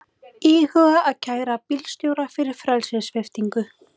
Íhuga að kæra bílstjóra fyrir frelsissviptingu